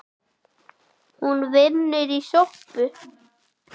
Hún vinnur í sjoppu